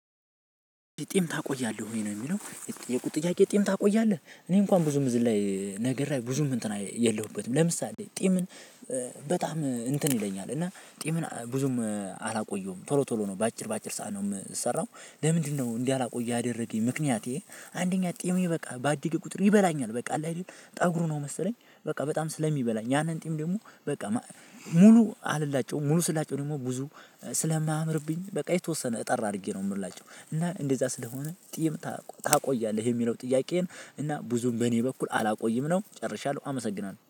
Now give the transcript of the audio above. ጢም ታቆያለህ ወይ ነው? የሚለው የተጠየኩት ጥያቄ ጢ ም ታቆያለህ እኔ እንኳን ብዙም እዝን ላይ ነግር ላይ ብዙም እንትን የለሁበትም ለምሳሌ ጢምን። በጣም እንትን ይለኛል እና ጢምን ብዙም አላቆየውም ቶሎ ቶሎ ነው በአጭር በአጭር ሰዓት ነው የምሰራው። ለምንድነው እንዳላቆይ ያደረገኝ ምክንያቴ። አንደኛ ጢሜ በቃ በአደገ ቁጥር ይበላኛል በቃ አለ አይደል ጠጉሩ ነው መሰለኝ በቃ በጣም ስለሚበላኝ። ያንን ጢም ደግሞ በቃ። ሙሉ አልላጨውም ሙሉ ስላጨው ደግሞ ብዙ ስለማያምርብኝ በቃ የተወሰነ እጠር አድርጌ ነው የምላጨው። እና እንደዛ ስለሆነ ጢም ታቆያለህ የሚለው ጥያቄን። እና ብዙም በእኔ በኩል አላቆይም ነው ጨርሻለሁ አመሰግናለሁ